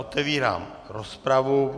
Otevírám rozpravu.